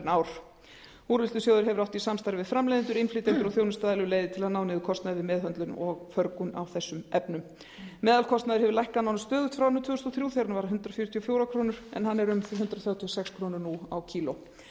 ár úrvinnslusjóður hefur átt í samstarfi við framleiðendur innflytjendur og þjónustuaðila um leiðir til að ná niður kostnaði við meðhöndlun og förgun á þessum efnum meðalkostnaður hefur lækkað nánast stöðugt frá árinu tvö þúsund og þrjú þegar hann var um hundrað fjörutíu og fjórar krónur kílógrömm nú